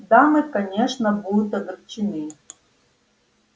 дамы конечно будут огорчены